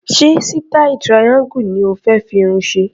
Ṣé sítáì triangle ni o fé fi irun ṣe?